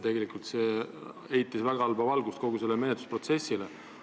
Tegelikult heidab see väga halba valgust kogu sellele menetlusprotsessile.